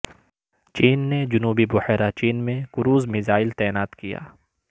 چین نے جنوبی بحیرہ چین میں کروز میزائل تعینات کیا